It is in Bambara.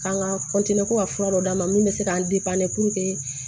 K'an ka ko ka fura dɔ d'a ma min bɛ se k'an